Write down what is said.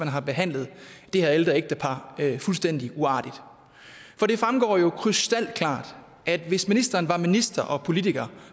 har behandlet det her ældre ægtepar fuldstændig uartigt for det fremgår jo krystalklart at hvis ministeren var minister og politiker